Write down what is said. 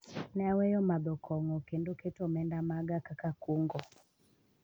ne aweyo madho kong'o kendo keto omenda maga kaka kungo